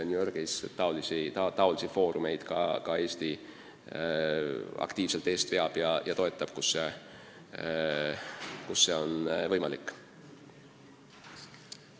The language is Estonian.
Niisuguseid foorumeid toetab Eesti aktiivselt ja veab ka eest, kui see võimalik on.